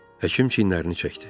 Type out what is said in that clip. Həkim çiynlərini çəkdi.